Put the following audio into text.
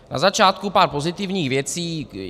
Na začátku pár pozitivních věcí.